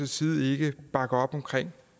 side ikke bakke op om